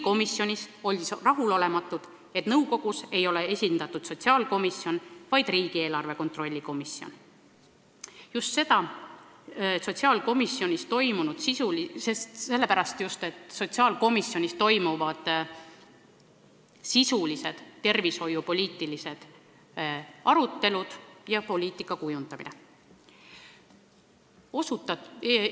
Komisjonis avaldati küll rahulolematust, et nõukogus ei ole esindatud sotsiaalkomisjon, vaid riigieelarve kontrolli erikomisjon – just sellepärast, et sotsiaalkomisjonis toimuvad sisulised tervishoiupoliitilised arutelud ja kujundatakse seda poliitikat.